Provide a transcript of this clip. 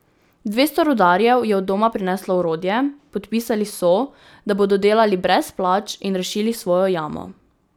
Dvesto rudarjev je od doma prineslo orodje, podpisali so, da bodo delali brez plač, in rešili svojo jamo.